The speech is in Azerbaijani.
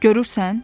Görürsən,